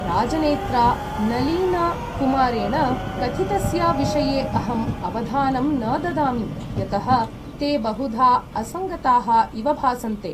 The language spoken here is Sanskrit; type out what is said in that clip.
राजनेत्रा नलीन् कुमारेण कथितस्य विषये अहम् अवधानं न ददामि, यतः ते बहुधा असङ्गताः इव भासन्ते।